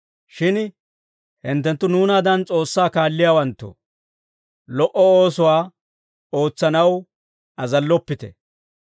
Shin hinttenttu nuunaadan S'oossaa kaalliyaawanttoo, lo"o oosuwaa ootsanaw azalloppite.